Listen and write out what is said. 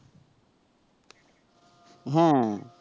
হ্যা